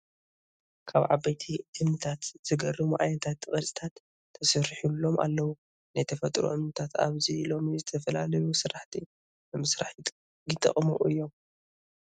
ካብ ዓበይቲ እምኒታት ዘገርሙ! ዓይነታት ቅርፂታት ተሰሪሒሎም ኣለው ። ናይ ተፈጥሮ እምንታት ኣብዚ ሎሚ ንዝተፈላለዩ ስራሕቲ ንምስራሕ ይጠቅሙ እዮም ።